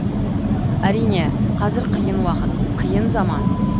әрине қазір қиын уақыт қиын заман